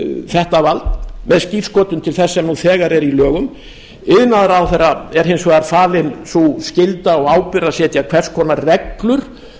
þetta vald með skírskotun til þess sem nú þegar er í lögum iðnaðarráðherra er hins vegar falin sú skylda og ábyrgð að setja hvers konar reglur